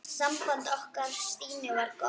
Samband okkar Stínu var gott.